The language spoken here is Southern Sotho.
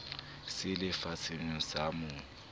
se le fatshemoo sa mo